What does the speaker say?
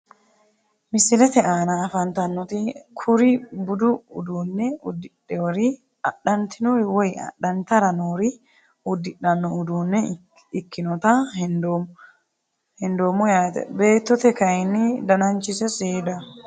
Misilete aana afantanoti kuri budu uduune udidhewori adhantinori woyi adhantara noori udidhano udunee ikinota hendoomo yaate beetote kayini dananchise seedaho.